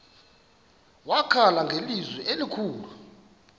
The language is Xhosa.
wakhala ngelizwi elikhulu